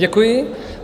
Děkuji.